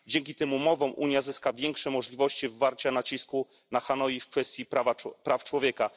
Dzięki tym umowom Unia zyska większe możliwości wywarcia nacisku na Hanoi w kwestii praw człowieka.